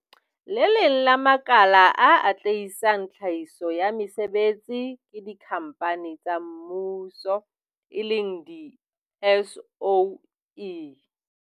Le leng la makala a atlehisang tlhahiso ya mesebetsi ke dikhampani tsa mmuso eleng di-SOE.